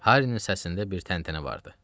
Harrinin səsində bir təntənə vardı.